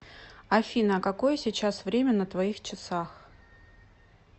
афина а какое сейчас время на твоих часах